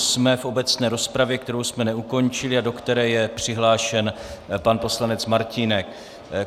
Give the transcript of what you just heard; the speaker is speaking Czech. Jsme v obecné rozpravě, kterou jsme neukončili a do které je přihlášen pan poslanec Martínek.